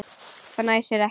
Fnæsir ekki.